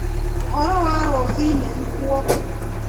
ũhoro wa rũcinĩ Rutwo